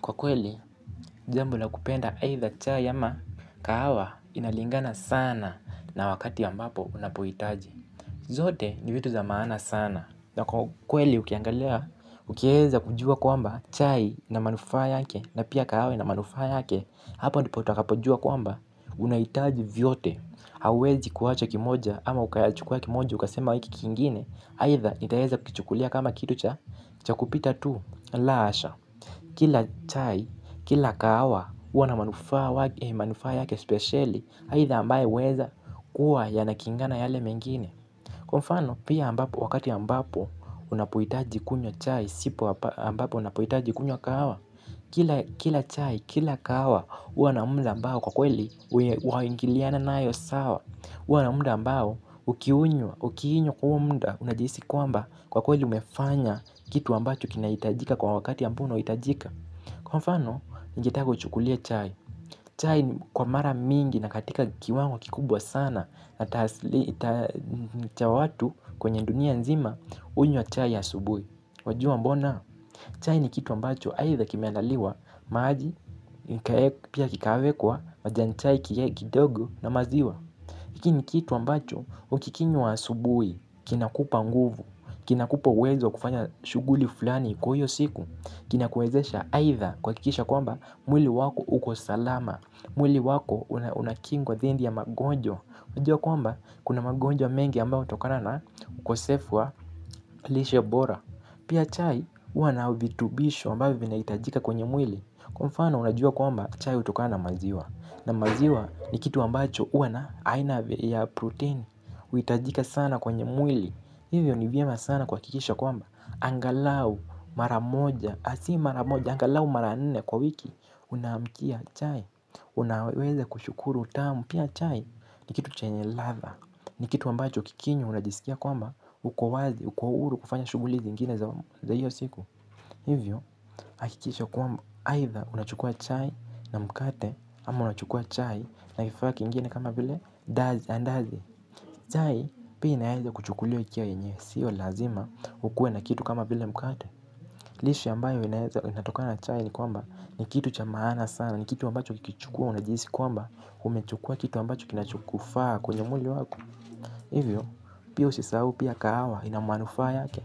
Kwa kweli, jambo la kupenda haitha chai ama kahawa inalingana sana na wakati ya mbapo unapohitaji. Zote ni vitu za maana sana. Na kwakweli ukiangalia, ukiweza kujua kwamba chai ina manufaa yake na pia kahawa ina manufaa yake, hapa utakapojua kwamba unahitaji vyote. Hauwezi kuwacha kimoja ama ukayachukua kimoja ukasema hiki kingine, haitha nitaweza kuchukulia kama kitu cha, cha kupita tu, la asha. Kila chai, kila kahawa, huwa na manufaa yake specially haitha ambayo huweza kuwa yanakingana yale mengine. Kwa mfano, pia ambapo, wakati ambapo, unapohitaji kunywa chai, sipo ambapo unapohitaji kunywa kahawa. Kila chai, kila kahawa, huwa na muda ambao kwa kweli waingiliana nayo sawa. Huwa na muda mbao, ukiinywa kwa huo muda, unajihisi kwamba kwa kweli umefanya kitu ambacho kinahitajika kwa wakati ya ambao unaohitajika. Kwa mfano, ningetaka uchukulie chai. Chai kwa mara mingi ina katika kiwango kikubwa sana na taaslii cha watu kwenye dunia nzima, hunywa chai asubui. Wajua mbona? Chai ni kitu ambacho haitha kimeandaliwa, maji, pia kikawekwa, majanichai, kidogo na maziwa. Hiki ni kitu ambacho, ukikinywap asubui, kinakupa nguvu, kinakupa uwezo wa kufanya shughuli fulani kwa hiyo siku, kinakuwezesha aitha kwa kwakisha kwamba mwili wako uko salama, mwili wako unakingwa dhindi ya magonjwa. Unajua kwamba kuna magonja mengi ambayo utokana na ukosefu wa lishe bora. Pia chai huwa na vitubisho ambavyo vinaitajika kwenye mwili. Kwa mfano unajua kwamba chai utokana na maziwa. Na maziwa ni kitu ambacho huwa na aina ya protein. Uitajika sana kwenye mwili. Hivyo ni vyema sana kuhakikisha kwamba angalau mara moja, si maramoja, angalau mara nne kwa wiki. Unaamkia chai, unaweze kushukuru utamu. Pia chai ni kitu chenye ladha, ni kitu ambacho ukikinywa unajisikia kwamba, uko wazi, uko huru kufanya shughuli ziingine za hiyo siku. Hivyo, hakikisha kwamba, aidha unachukua chai na mkate, ama unachukua chai na kifaa kingine kama vile, dazi, andazi. Chai, pia inaeza kuchukuliwa ikiwa yenyewe, siyo lazima, ukuwe na kitu kama vile mkate. Lishe ambayo inatoka na chai ni kwamba, ni kitu cha maana sana, ni kitu ambacho ukikichukua unajihisi kwamba, umechukua kitu ambacho kinachokufaa kwenye mwili wako. Hivyo, pio usisahau pia kahawa ina muanufaa yake.